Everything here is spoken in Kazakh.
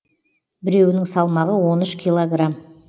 біреуінің салмағы он үш килограмм